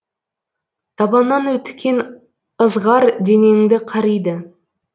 табаннан өткен ызғар денеңді қариды